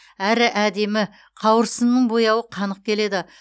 әрі әдемі қауырсынының бояуы қанық келеді